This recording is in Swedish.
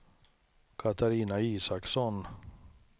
Katarina Isaksson